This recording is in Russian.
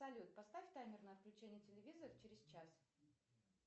салют поставь таймер на отключение телевизора через час